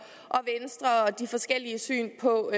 de forskellige syn på